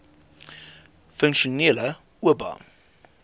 funksionele oba